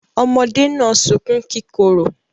Ọmọdé náà sunkún kíkorò.